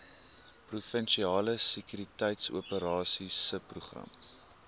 provinsiale sekuriteitsoperasies subprogram